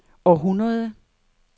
århundrede